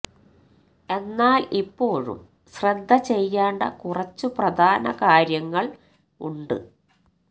എന്നാൽ ഇപ്പോഴും ശ്രദ്ധ ചെയ്യേണ്ട കുറച്ചു പ്രധാന കാര്യങ്ങൾ ഉണ്ട്